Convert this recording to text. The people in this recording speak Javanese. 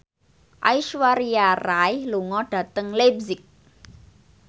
Aishwarya Rai lunga dhateng leipzig